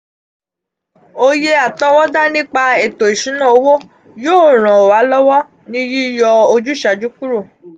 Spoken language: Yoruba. oye atowoda nipa eto isuna owo yoo ran wa lowo ni yiyo ojusaaju kuro.